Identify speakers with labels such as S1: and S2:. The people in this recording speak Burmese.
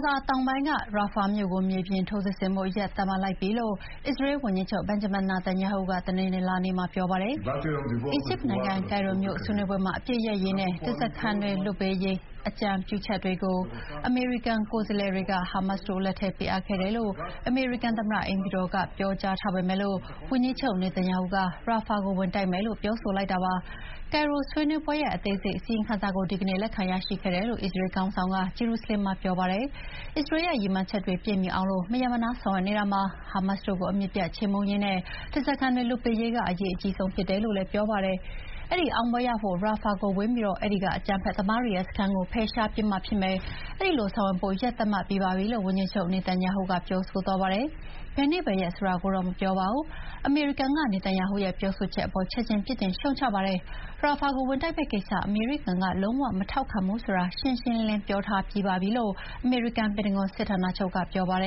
S1: ဇာတောင်ပိုင်းက Rafah မြို့ကို မြေပြင်ထိုးစစ်ဆင်ဖို့ ရက်သတ်မှတ်လိုက်ပြီလို့ အစ္စရေးဝန်ကြီးချုပ် Benjamin Netanyahu ကတနင်္လာနေ့မှာ ပြောပါတယ်။
S2: အီဂျစ်နိုင်ငံ၊ ကိ
S1: ုင်ရိုမြို့ဆွေးနွေးပွဲမှာ အပစ်ရပ်ရေးနဲ့ ဓားစားခံတွေလွတ်ပေးရေး အကြံပြုချက်တွေကို အမေရိကန်ကိုယ်စားလှယ်တွေက ဟာမတ်စ်တို့လက်ထဲပေးအပ်ခဲ့တယ်လို့ အမေရိကန်သမ္မတအိမ်ဖြူတော်ကပြောကြားထားပေမယ့် အစ္စရေးဝန်ကြီးချုပ် နေသန်ယာဟုကတော့ Rafah ကို ဝင်တိုက်မယ်လို့ ပြောဆိုလိုက်တာပါ။ ကိုင်ရိုဆွေးနွေးပွဲရဲ့ အသေးစိတ်အစီရင်ခံစာကို ဒီကနေ့ လက်ခံရရှိခဲ့တယ်လို့ အစ္စရေေခေါင်းဆောင်က ဂျေရုဆလင်မ်မြို့မှာ ပြောပါတယ်။အစ္စရေးရဲ့ ရည်မှန်းချက်တွေပြည့်မှီအောင် မရပ်မနားဆောင်ရွက်နေတာမှာ ဟာမတ်စ်တို့ကိုအမြစ်ပြတ်ခြေမှုန်းရေးနဲ့ ဓားစားခံတွေလွတ်ပေးရေးက အရေးအကြီးဆုံးဖြစ်တယ်လို့လည်း ပြောပါတယ်။ အဲဒီအောင်ပွဲရဖို့ Rafah ကိုဝင်ပြီး အဲဒီက အကြမ်းဖက်သမားတွေရဲ့ စခန်းကိုဖယ်ရှားပစ်မှဖြစ်မယ်၊ အဲဒီလိုဆောင်ရွက်ဖို့ ရက်သတ်မှတ်ပြီးပါပြီလို့ ဝန်ကြီးချုပ်နေသန်ယာဟု က ပြောဆိုသွားပါတယ်။ ဘယ်နေ့ဘယ်ရက်ဆိုတာကိုတော့ မပြောပါဘူး။ အမေရိကန်ပြည်ထောင်စုကတော့ နေသန်ယာဟုရဲ့ ဒီ ပြောဆိုချက်အပေါ် ချက်ချင်းပြစ်တင်ရှုတ်ချခဲ့ပါတယ်။ Rafah ကိုဝင်တိုက်မယ့်ကိစ္စ အမေရိကန်က လုံးဝမထောက်ခံဘူးဆိုတာ ရှင်းရှင်းလင်းလင်းပြောထားပြီးပါပြီလို့ အမေရိကန်ပ
S3: င်တဂွန်စစ်ဌာနချုပ်ကပြောဆိုပါတ